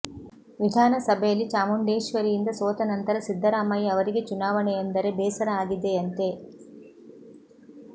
ವಿಧಾನಸಭೆಯಲ್ಲಿ ಚಾಮುಂಡೇಶ್ವರಿಯಿಂದ ಸೋತ ನಂತರ ಸಿದ್ದರಾಮಯ್ಯ ಅವರಿಗೆ ಚುನಾವಣೆ ಎಂದರೆ ಬೇಸರ ಆಗಿದೆಯಂತೆ